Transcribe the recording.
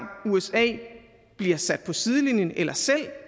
usa bliver sat på sidelinjen eller selv